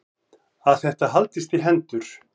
Að þetta haldist í hendur.